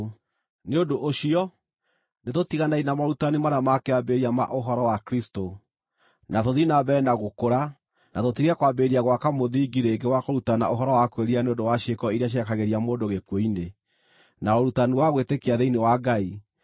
Nĩ ũndũ ũcio nĩtũtiganei na morutani marĩa ma kĩambĩrĩria ma ũhoro wa Kristũ, na tũthiĩ na mbere na gũkũra, na tũtige kwambĩrĩria gwaka mũthingi rĩngĩ wa kũrutana ũhoro wa kwĩrira nĩ ũndũ wa ciĩko iria cierekagĩria mũndũ gĩkuũ-inĩ, na ũrutani wa gwĩtĩkia thĩinĩ wa Ngai,